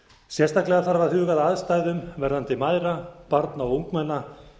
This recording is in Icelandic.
sérstaklega þarf að huga að aðstæðum verðandi mæðra barna og ungmenna